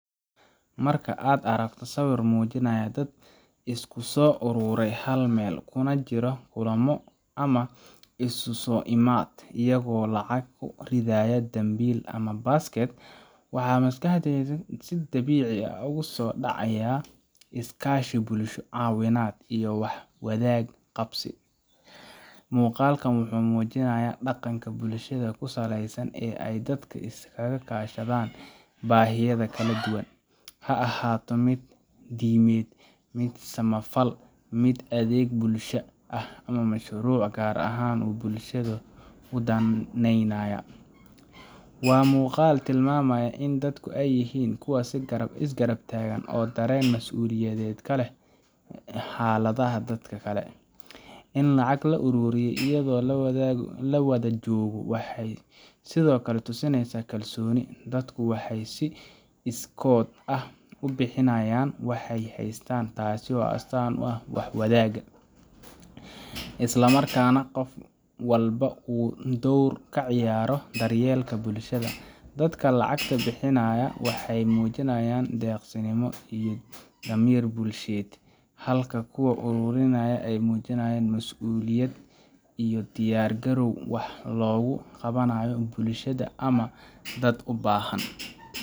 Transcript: Marka aad aragto sawir muujinaya dad isku soo uruuray hal meel, kuna jira kulamo ama isu soo imaatin, iyagoo lacag ku ridaya dambiil ama basket, waxa maskaxdaada si dabiici ah ugu soo dhacaya iskaashi bulsho, caawinta, iyo wax wada qabsi. Muuqaalkan wuxuu muujinayaa dhaqanka bulshada ku saleysan ee ay dadku iskaga kaashadaan baahiyaha kala duwan ha ahaato mid diimeed, mid samafal, mid adeeg bulshada ah, ama mashruuc gaar ah oo bulshada u danaynaya. Waa muuqaal tilmaamaya in dadku ay yihiin kuwo is garab taagan oo dareen mas’uuliyadeed ka leh xaaladda dadka kale. In lacag la ururiyo iyadoo la wada joogo waxay sidoo kale tusinaysaa kalsooni; dadku waxay si iskood ah u bixinayaan waxay haystaan, taasoo astaan u ah wax wadaag, isla markaana qof walba uu door ka ciyaarayo daryeelka bulshada. Dadka lacagta bixinaya waxay muujinayaan deeqsinimo iyo damiir bulsheed, halka kuwa ururinaya ay muujinayaan masuuliyad iyo diyaar garow wax loogu qabanayo bulshada ama dad u baahan.